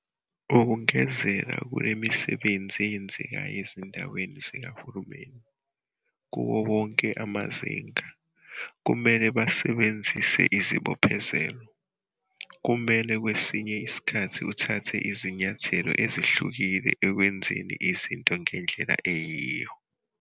Ukungezela kulemisebenzi eyenzekayo ezindaweni zikahulumeni, kuwo wonke amazinga, kumele basisebenzise isibophezelo, kumele kwesinye isikhathi uthathe izinyathelo ezehlukile ekwenzeni izinto ngendlela eyiyo.